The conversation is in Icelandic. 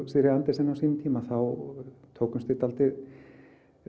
Sigríði Andersen á sínum tíma þá tókumst við dálítið